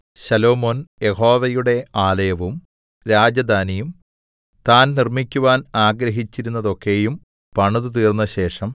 ശലോമോൻ യഹോവയുടെ ആലയവും രാജധാനിയും താൻ നിർമ്മിക്കുവാൻ ആഗ്രഹിച്ചിരുന്നതൊക്കെയും പണിതുതീർന്നശേഷം